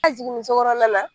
A jiginni sokɔnɔna la